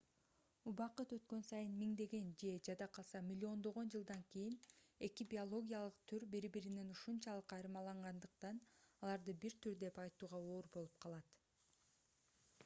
убакыт өткөн сайын миңдеген же жада калса миллиондогон жылдан кийин эки биологиялык түр бири-биринен ушунчалык айырмалангандыктан аларды бир түр деп айтууга оор болуп калат